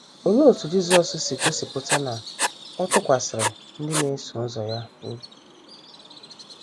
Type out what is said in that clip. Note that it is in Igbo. Olee otú Jisọs si gosipụta na ọ tụkwasịrị ndị na - eso ụzọ ya obi?